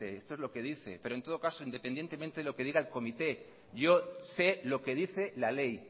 esto es lo que dice pero en todo caso independientemente de lo que diga el comité yo sé lo que dice la ley